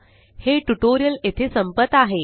हे ट्यूटोरियल येथे संपत आहे